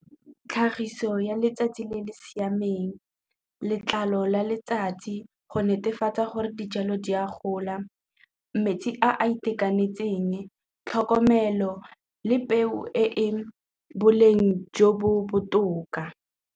Tlhagiso ya letsatsi le le siameng, letlalo la letsatsi go netefatsa gore dijalo di a gola, metsi a a itekanetseng, tlhokomelo le peo e boleng jo bo botoka.